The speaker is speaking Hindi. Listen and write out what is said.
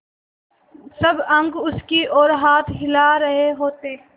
सब अंक उसकी ओर हाथ हिला रहे होते